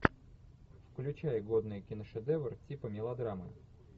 включай годный киношедевр типа мелодрамы